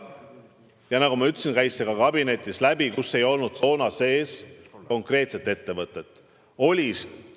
Ja nagu ma ütlesin, käis see ka kabinetist läbi, ainult et siis ei olnud juttu konkreetsest ettevõttest.